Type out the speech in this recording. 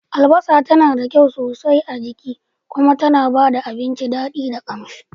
Albasa tana da kyau sosai a jiki kuma tana ba da abinci daɗi da ƙamshi.